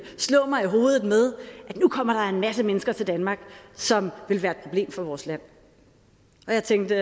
slå mig i hovedet med at nu kommer der en masse mennesker til danmark som vil være et problem for vores land og jeg tænkte